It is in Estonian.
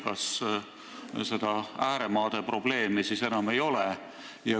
Kas seda ääremaade probleemi enam ei ole?